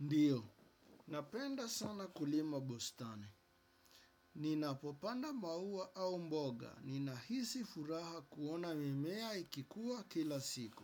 Ndiyo, napenda sana kulima. Bustani. Ninapopanda maua au mboga. Ninahisi furaha kuona mimea ikikua kila siku.